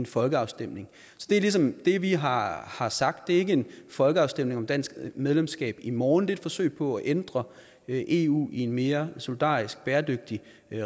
folkeafstemning så det er ligesom det vi har har sagt det er ikke en folkeafstemning om dansk medlemskab i morgen det er et forsøg på at ændre eu i en mere solidarisk bæredygtig